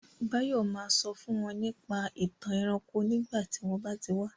Báyọ̀ ma sọ fún wọn nípa ìtàn ẹranko nígbà tí wọ́n bá ti wá